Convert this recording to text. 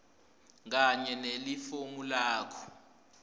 kanye nelifomu lakho